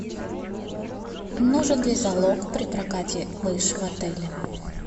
нужен ли залог при прокате лыж в отеле